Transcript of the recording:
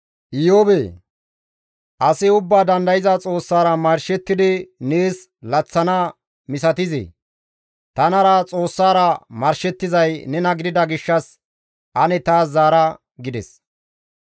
«Iyoobee! Asi Ubbaa Dandayza Xoossara marshettidi laththana nees misatizee? Tanara Xoossara marshettizay nena gidida gishshas ane taas zaara» gides.